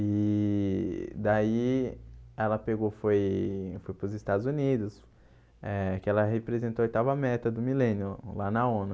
E daí ela pegou foi foi para os Estados Unidos, eh que ela representou a oitava meta do milênio lá na ONU.